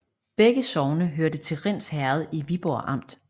Begge sogne hørte til Rinds Herred i Viborg Amt